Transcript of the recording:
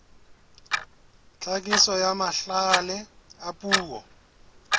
tlhakiso ya mahlale a puo